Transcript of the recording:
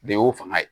Bɛɛ y'o fanga ye